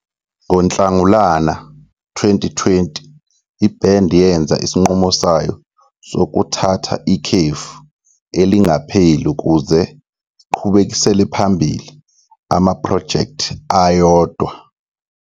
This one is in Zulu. NgoNhlangulana 2020, ibhendi yenza isinqumo sayo sokuthatha ikhefu elingapheli ukuze iqhubekisele phambili amaphrojekthi ayodwa.